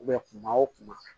kuma o kuma